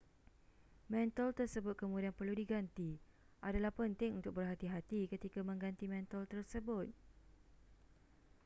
mentol tersebut kemudian perlu diganti adalah penting untuk berhati-hati ketika mengganti mentol tersebut